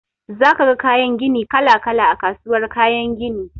Za ka ga kayan gini kala-kala a kasuwar kayan gini.